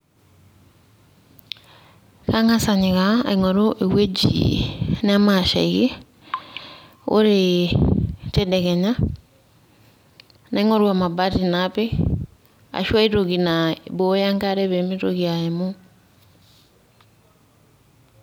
Ang'as anyikaa aing'oru ewueji nemashaiki, Ore tedekenya naing'oru emabati napik, ashu ai toki naiboyo enkare pemitoki aimu.